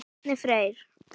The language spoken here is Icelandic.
Árni Freyr.